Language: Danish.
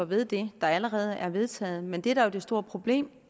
ved det der allerede er vedtaget men det der er det store problem